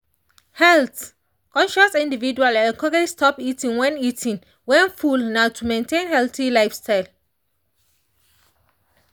health-conscious individuals encouraged stop eating when eating when full nah to maintain healthy lifestyle.